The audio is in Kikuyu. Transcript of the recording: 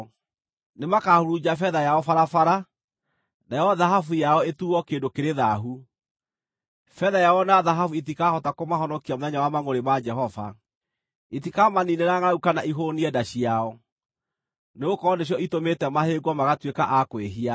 Nĩmakahurunja betha yao barabara, nayo thahabu yao ĩtuuo kĩndũ kĩrĩ thaahu. Betha yao na thahabu itikahota kũmahonokia mũthenya wa mangʼũrĩ ma Jehova. Itikamaniinĩra ngʼaragu kana ihũũnie nda ciao, nĩgũkorwo nĩcio itũmĩte mahĩngwo magatuĩka a kwĩhia.